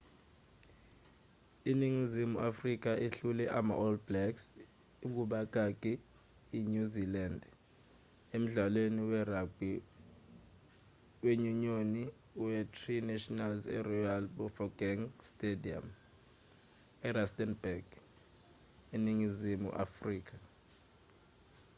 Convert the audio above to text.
iningizimu afrika ihlule ama-all blacks inyuzilandi emdlalweni we-ragbhi wenyunyoni we-tri nations eroyal bafokeng stadium erustenburg eningizimu afrika